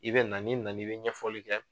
I bɛ na n'i nan'i bɛ ɲɛfɔli kɛ.